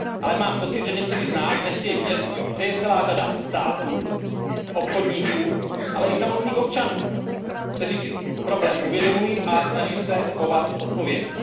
Ale mám pocit, že někteří z nás nechtějí vidět, že je celá řada států, obchodníků, ale i samotných občanů, kteří si problém uvědomují a snaží se chovat odpovědně.